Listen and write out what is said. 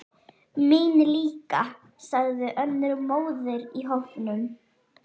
Mín líka, sagði önnur móðir í hópnum.